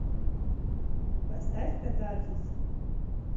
поставь катарсис